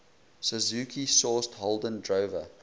suzuki sourced holden drover